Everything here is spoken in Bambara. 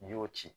N'i y'o ci